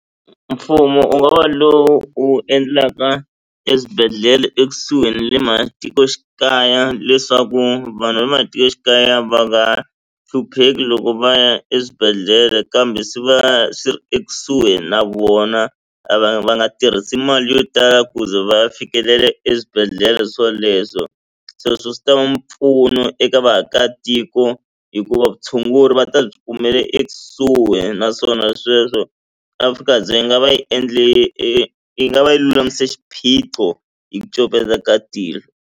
Mfumo u nga wa lowo u endlaka eswibedhlele ekusuhi na le matikoxikaya leswaku vanhu va le matikoxikaya va nga hlupheki loko va ya eswibedhlele kambe swi va swi ri ekusuhi na vona a va va nga tirhisi mali yo tala ku ze va ya fikelela eswibedhlele swoleswo se sweswo swi ta va mpfuno eka vaakatiko hikuva vutshunguri va ta byi kumela ekusuhi naswona sweswo afrika dzonga va yi endle yi nga va yi lulamise xiphiqo hi ku copeta ka tihlo.